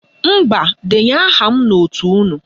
Mba, denye aha m n'òtù unu